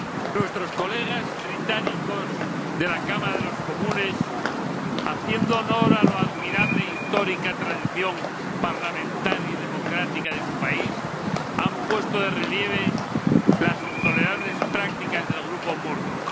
Señora Presidenta, nuestros colegas británicos de la Cámara de los Comunes, haciendo honor a la admirable histórica tradición parlamentaria y democrática de su país, han puesto de relieve las intolerables prácticas del grupo Murdoch.